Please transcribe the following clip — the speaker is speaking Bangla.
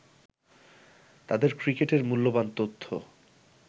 তাদের ক্রিকেটের মূল্যবান তথ্য